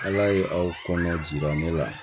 Ala ye aw kɔnɔ jira ne la